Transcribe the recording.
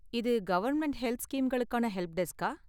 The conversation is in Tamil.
இது கவர்ன்மெண்ட் ஹெல்த் ஸ்கீம்களுக்கான ஹெல்ப்டெஸ்க்கா?